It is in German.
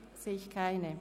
– Ich sehe keine.